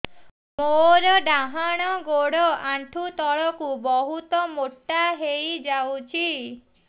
ମୋର ଡାହାଣ ଗୋଡ଼ ଆଣ୍ଠୁ ତଳକୁ ବହୁତ ମୋଟା ହେଇଯାଉଛି